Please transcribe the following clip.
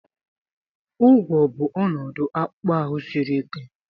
ụgwọ̀ bụ ọnọdụ akpụkpọ ahụ siri ike